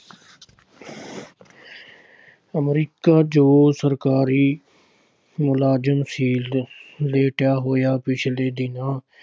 America ਚ ਸਰਕਾਰੀ ਮੁਲਾਜ਼ਮ ਸੀ। ਲੇਟਿਆ ਹੋਇਆਂ ਪਿਛਲੇ ਦਿਨ